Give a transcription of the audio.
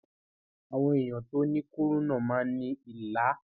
Àwọn èèyàn tó ní kúrúnà máa ní ilà